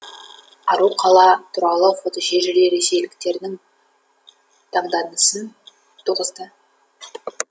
ару қала туралы фотошежіре ресейліктердің таңданысын туғызды